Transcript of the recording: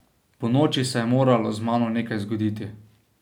Ponoči se je moralo z mano nekaj zgoditi.